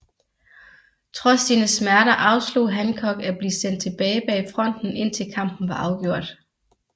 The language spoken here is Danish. Trods sine smerter afslog Hancock at blive sendt tilbage bag fronten indtil kampen var afgjort